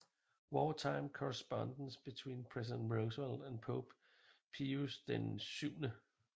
Wartime Correspondence Between President Roosevelt and Pope Pius XII